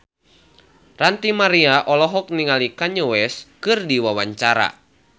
Ranty Maria olohok ningali Kanye West keur diwawancara